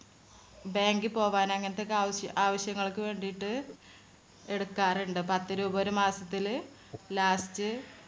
bank ൽ പോകാന് അങ്ങനത്തെ ഒക്കെ ആവശ്യ~ആവശ്യങ്ങൾക്ക് വേണ്ടീട്ട് എടുക്കാറുണ്ട്. പത്തുരൂപ ഒരു മാസത്തില് last